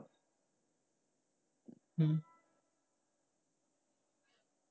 হুম।